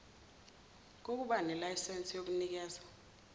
kokba nelayinse yokunikeza